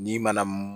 N'i ma na